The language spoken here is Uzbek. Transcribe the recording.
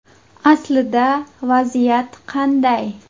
Aslida vaziyat qanday?